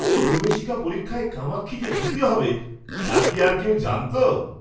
প্রবেশিকা পরীক্ষায় কামাক্ষী যে দ্বিতীয় হবে তা কি আর কেউ জানতো?